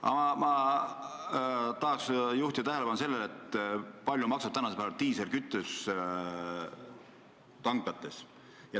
Aga ma tahan juhtida tähelepanu sellele, kui palju maksab praegu diislikütus tanklates.